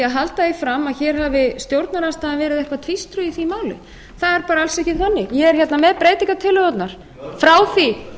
halda því fram að hér hafi stjórnarandstaðan verið eitthvað tvístruð í því máli það er bara alls ekki þannig ég er hérna með breytingartillögurnar